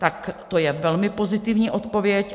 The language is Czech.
Tak to je velmi pozitivní odpověď.